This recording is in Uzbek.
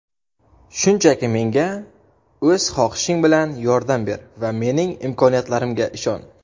Shunchaki menga o‘z xohishing bilan yordam ber va mening imkoniyatlarimga ishon.